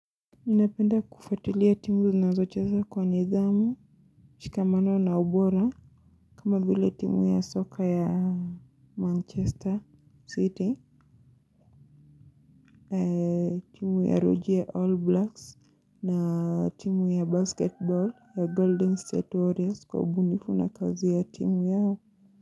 Ninapenda kufuatilia timu zinazocheza kwa nidhamu, shikamano na ubora. Kama vile timu ya soka ya Manchester City Timu ya ruji ya All Blacks na timu ya Basketball ya Golden State Warriors kwa ubunifu na kazi ya timu yao Muzika.